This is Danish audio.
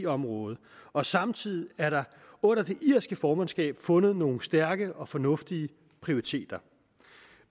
området og samtidig er der under det irske formandskab fundet nogle stærke og fornuftige prioriteter